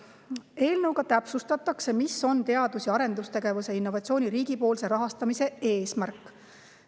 Eelnõu kohaselt täpsustatakse, mis on teadus‑ ja arendustegevuse ning innovatsiooni riigipoolse rahastamise eesmärk.